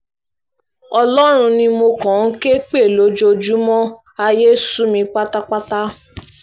ọlọ́run ni mo kàn ń ké pè lójoojúmọ́ ayé sú mi pátápátá